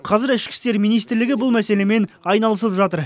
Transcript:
қазір ішкі істер министрлігі бұл мәселемен айналысып жатыр